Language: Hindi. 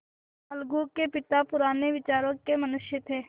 अलगू के पिता पुराने विचारों के मनुष्य थे